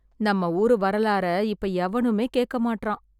நம்ம ஊரு வரலாற இப்ப எவனுமே கேட்க மாட்றா